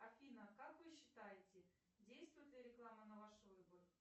афина как вы считаете действует ли реклама на ваш выбор